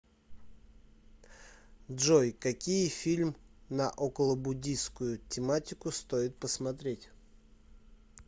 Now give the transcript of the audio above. джой какие фильм на околобуддийскую тематику стоит посмотреть